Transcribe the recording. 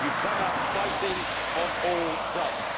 You have come out fighting on all fronts.